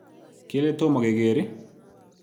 Kele tomokeker i?